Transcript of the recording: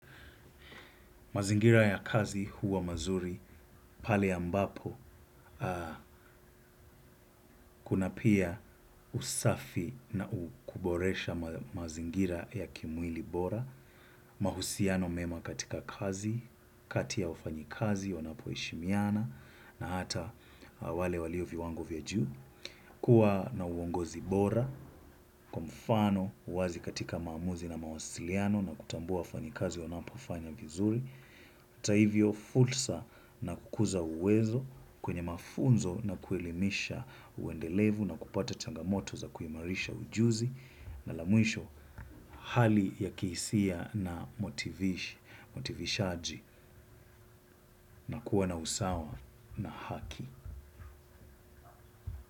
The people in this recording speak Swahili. Mazingira ya kazi huwa mazuri, pale ambapo, kuna pia usafi na kuboresha mazingira ya kimwili bora. Mahusiano mema katika kazi, kati ya wafanyikazi, wanapoheshimiana, na hata wale walioviwango vya juu. Kua na uongozi bora, kwa mfano, uwazi katika maamuzi na mawasiliano na kutambua wafanyikazi wanapofanya vizuri. Hata hivyo fursa na kukuza uwezo kwenye mafunzo na kuelimisha uendelevu na kupata changamoto za kuimarisha ujuzi na la mwisho hali ya kihisia na motivishaji na kuwa na usawa na haki.